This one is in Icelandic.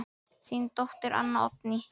Þín dóttir, Anna Oddný.